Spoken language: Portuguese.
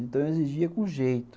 Então eu exigia com jeito.